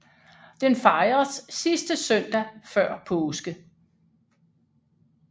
Den fejres sidste søndag før påske